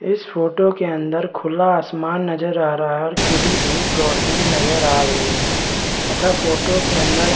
इस फोटो के अंदर खुला आसमान नजर आ रहा है और खिली धूप रौशनी नजर आ रही है तथा फोटो के अंदर --